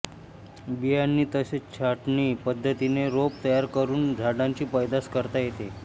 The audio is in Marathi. बियांनी तसेच छाटणी पद्धतीने रोप तयार करून झाडांची पैदास करता येते